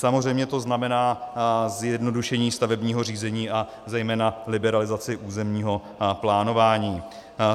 Samozřejmě to znamená zjednodušení stavebního řízení a zejména liberalizaci územního plánování.